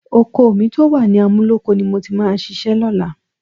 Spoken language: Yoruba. Oko mi tó wà ní Amúlóko ni mo ti máa ṣiṣẹ́ lọ́la